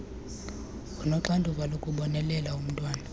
onoxanduva lokubonelela umntwana